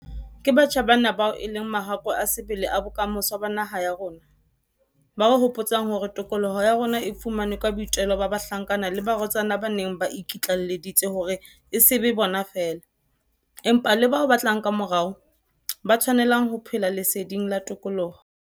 Ke batjha bana bao e leng mahakwe a sebele a bokamoso ba naha ya rona, ba re hopotsang hore tokoloho ya rona e fumanwe ka boitelo ba bahlankana le barwetsana ba neng ba iki tlaelleditse hore e se be bona feela, empa le bao ba tlang kamorao, ba tshwanelang ho phela leseding la tokoloho.